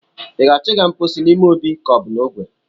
I ga-achọ ịga mpochi n'ime obi ka ọ bụ n'ogwe?